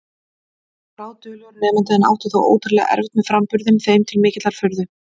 Hann var bráðduglegur nemandi en átti þó ótrúlega erfitt með framburðinn, þeim til mikillar furðu.